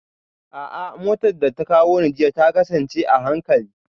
A'a, motar da ta kawo ni jiya ta kasance a hankali